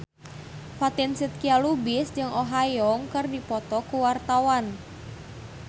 Fatin Shidqia Lubis jeung Oh Ha Young keur dipoto ku wartawan